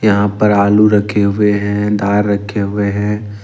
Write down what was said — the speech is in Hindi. यहां पर आलू रखे हुए हैं दाल रखे हुए हैं।